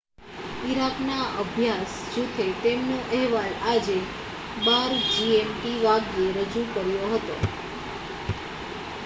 Iraq ના અભ્યાસ જુથે તેમનો અહેવાલ આજે 12:00 gmt વાગ્યે રજૂ કર્યો હતો